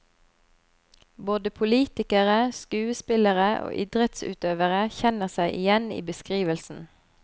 Både politikere, skuespillere og idrettsutøvere kjenner seg igjen i beskrivelsen.